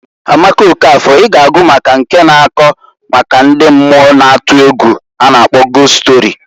Amaka Okafor I g'agụ maka nke na-akọ maka ndi mmuo na atu egwu a na -akpọ gost stori.